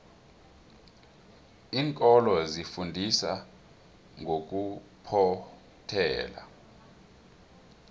iinkolo zifundisa ngokuphothela